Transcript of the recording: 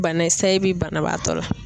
Bana sayi bi banabaatɔ la.